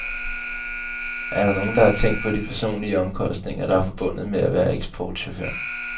Er der nogen, der har tænkt på de personlige omkostninger, der er forbundet med at være eksportchauffør.